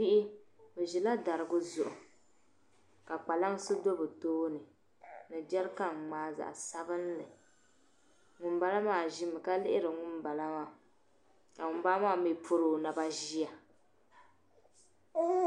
Bihi be ʒila dariga zuɣu ka kpalaŋsi be bɛ tooni ni jarikan ŋmaa zaɣ'sabinli ŋun bala maa ʒi mi ka liɣiri ŋun bala maa ka ŋun bala maa mii pɔri o naba ʒiya.